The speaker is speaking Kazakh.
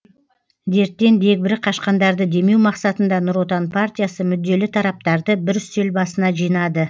дерттен дегбірі қашқандарды демеу мақсатында нұр отан партиясы мүдделі тараптарды бір үстел басына жинады